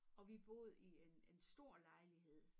Og vi boede i en en stor lejlighed